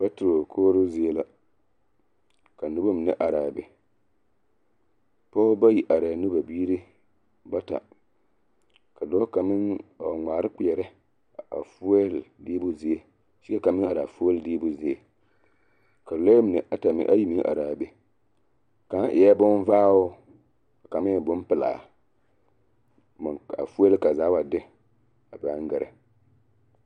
patro kɔɔro zie la ka noba mine are a be pɔgba bayi are la ne ba biiri bata ka dɔɔ kang meŋ a wa gmaare kpere a foyel deebo zie kyɛ ka kang meŋ are foyel deebo zieŋ ka lure mine meŋ ayi are be kaŋ eɛ bonvaŋɔ ka kang meŋ e bonpilaa a foyel ka zaa wa de a paŋ gerɛ .